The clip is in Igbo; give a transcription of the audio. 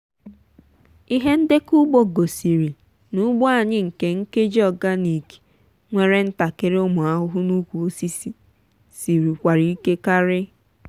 ihe ndekọ ugbo gosiri na ugbo anyị nke nkeji organic nwere ntakịrị ụmụ ahụhụ na ukwu osisi siri kwara ike kari.